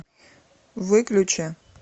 выключи